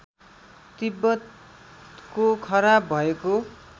तिब्बतको खराब भएको